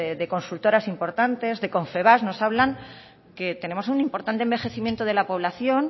de consultoras importantes de confebask nos hablan que tenemos un importante envejecimiento de la población